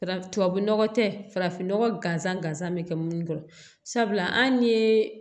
Fara tubabu nɔgɔ tɛ farafinnɔgɔn gansan gansan bɛ kɛ munnu kɔrɔ sabula an ye